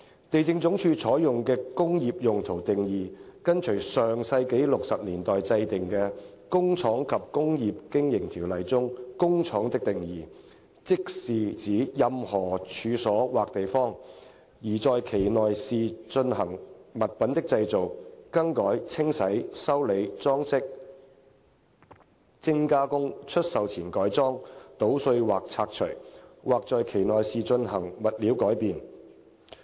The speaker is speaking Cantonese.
地政總署採用的"工業用途"定義跟隨上世紀60年代制定的《工廠及工業經營條例》中"工廠"的定義，即是指任何處所或地方，而在其內是進行物品的製造、更改、清洗、修理、裝飾、精加工、出售前改裝、搗碎或拆除，或在其內是進行物料改變。